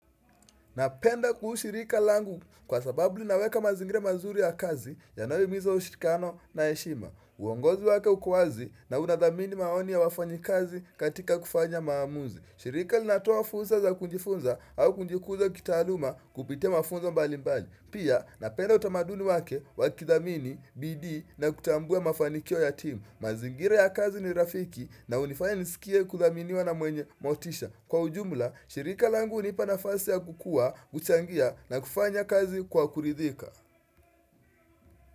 Napenda kuhu shirika langu kwa sababu linaweka mazingira mazuri ya kazi yanayohimiza ushirikiano na heshima. Uongozi wake uko wazi na unadhamini maoni ya wafanyikazi katika kufanya maamuzi. Shirika linatoa fursa za kujifunza au kujikuza kitaaluma kupitia mafunzo mbali mbali. Pia napenda utamaduni wake wakidhamini bidii na kutambua mafanikio ya team. Mazingira ya kazi ni rafiki na hunifanya nisikia kuthaminiwa na mwenye motisha. Kwa ujumla, shirika langu hunipa nafasi ya kukua, kuchangia na kufanya kazi kwa kuridhika.